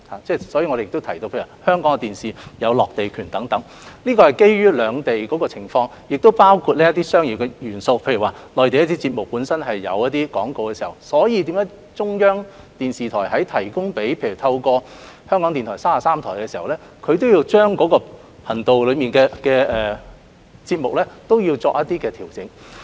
因此，我亦提到香港電視台的落地權，是基於兩地的不同情況，當中亦有商業元素，例如內地電視節目本身有廣告，而當中央電視台向港台電視33台提供節目時，也要將頻道內的節目作出一些調整。